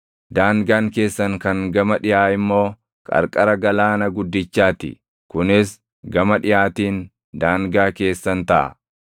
Daangaan keessan kan gama dhiʼaa immoo qarqara Galaana guddichaa ti. Kunis gama dhiʼaatiin daangaa keessan taʼa.